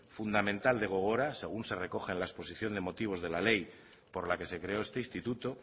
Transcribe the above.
fundamental de gogora según se recoge en la exposición de motivos de la ley por la que se creó este instituto